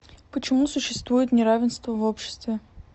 почему существует неравенство в обществе